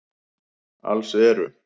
Alls eru